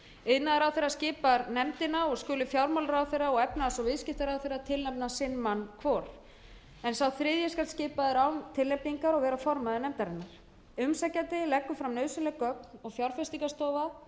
séu uppfyllt iðnaðarráðherra skipar nefndina og skulu fjármálaráðherra og efnahags og viðskiptaráðherra tilnefna fimm menn hvor en sá þriðji skal skipaður án tilnefningar og vera formaður nefndarinnar umsækjandi leggur fram nauðsynleg gögn og fjárfestingarstofa